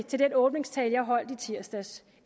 til den åbningstale jeg holdt i tirsdags